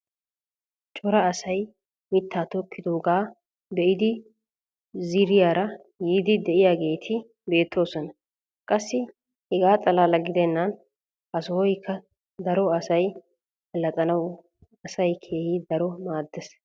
Cora asay mitaa tokkidoogaa be'iidi ziiriyaara yiidi diyaageeti beetoosona. Qassi hegaa xalaala gidennan ha sohoykka daro asay alaxxanawu asaa keehi daro maadees.